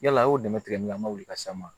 Yala a y'o dɛmɛ tigɛ an ka wuli ka s'an ma